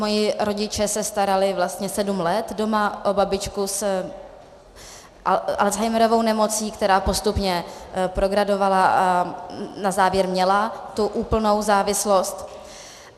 Moji rodiče se starali vlastně sedm let doma o babičku s Alzheimerovou nemocí, která postupně progradovala a na závěr měla tu úplnou závislost.